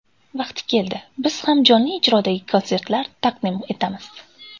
Vaqti keladi, biz ham jonli ijrodagi konsertlar taqdim etamiz.